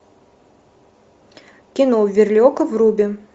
кино верлиока вруби